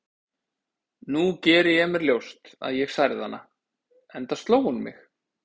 Nú geri ég mér ljóst að ég særði hana, enda sló hún mig.